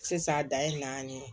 Sisan dan ye naani ye